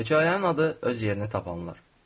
Hekayənin adı öz yerini tapanlar.